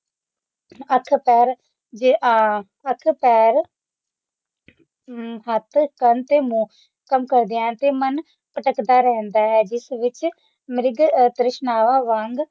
ਹੱਥ ਪੈਰ ਤੇ ਆ ਹੱਥ ਪੈਰ ਅੱਖ ਕੰਨ ਤੇ ਮੂੰਹ ਕੰਮ ਕਰਦਿਆਂ ਹਨ ਤੇ ਮਨ ਭਟਕਦਾ ਰਹਿੰਦਾ ਹੈ ਜਿਸ ਵਿਚ ਮ੍ਰਿਗ ਤ੍ਰਿਸ਼ਨਾਵਾਂ ਵਾਂਗ